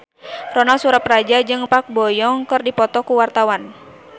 Ronal Surapradja jeung Park Bo Yung keur dipoto ku wartawan